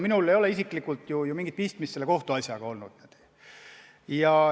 Minul ei ole isiklikult mingit pistmist selle kohtuasjaga olnud.